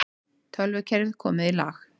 Tölvukerfi komið í lag